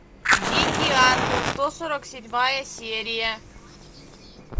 дикий ангел сто сорок седьмая серия